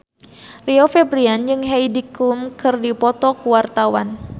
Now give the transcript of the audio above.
Rio Febrian jeung Heidi Klum keur dipoto ku wartawan